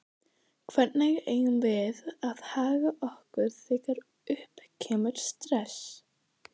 Hvernig eigum við að haga okkur þegar upp kemur stress?